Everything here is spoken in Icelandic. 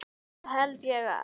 Það held ég að.